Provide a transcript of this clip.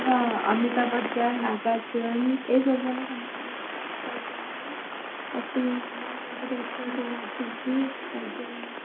ହଁ ଅମିତା ବଚନ ନାଗାର୍ଜୁନ ଏଇସବୁ ମାନେ ସମସ୍ତେ acting ସେଥିରେ ସବୁ ଅଛନ୍ତି ଅଜୟ